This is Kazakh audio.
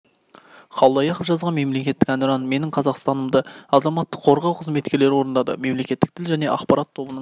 қалдаяқов жазған мемлекеттік әнұран менің қазақстанымды азаматтық қорғау қызметкерлері орындады мемлекеттік тіл және ақпарат тобының